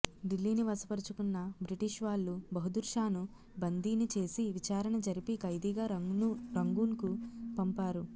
ఢిల్లీని వశపరుచుకున్న బ్రిటిష్వాళ్లు బహదూర్షాను బందీని చేసి విచారణ జరిపి ఖైదీగా రంగూన్కు పంపారు